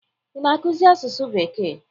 Ị na-akụzi asụsụ bekee?